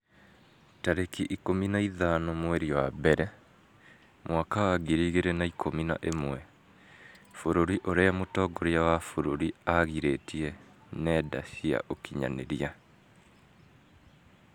tarĩki ikũmi na ithano mweri wa mbere mwaka wa ngiri igĩrĩ na ikũmi na ĩmwe Bũrũri ũrĩa mũtongoria wa bũrũri aagirĩtie ngenda cia ũkinyanĩria